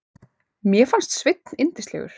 Mér fannst Sveinn yndislegur.